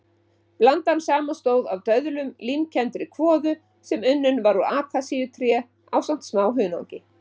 Blandan samanstóð af döðlum, límkenndri kvoðu sem var unnin úr akasíutré ásamt smá hunangi.